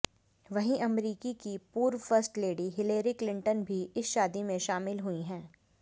वहीं अमरीकी की पूर्व फर्स्ट लेडी हिलेरी क्लिटंन भी इस शादी में शामिल हुई हैं